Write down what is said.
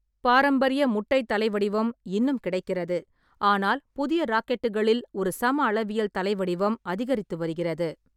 பாரம்பரிய முட்டை தலை வடிவம் இன்னும் கிடைக்கிறது, ஆனால் புதிய ராக்கெட்டுகளில் ஒரு சமஅளவியல் தலை வடிவம் அதிகரித்து வருகிறது.